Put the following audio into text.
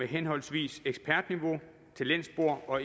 henholdsvis ekspertniveau talentspor og